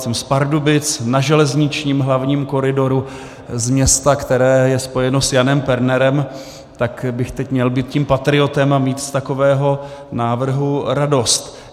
Jsem z Pardubic, na železničním hlavním koridoru z města, které se spojeno s Janem Pernerem, tak bych teď měl být tím patriotem a mít z takového návrhu radost.